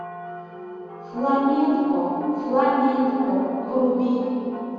фламенко фламенко вруби